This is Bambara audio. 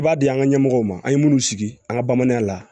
I b'a di an ka ɲɛmɔgɔw ma an ye minnu sigi an ka bamananya la